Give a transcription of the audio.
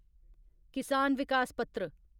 किसान विकास पत्र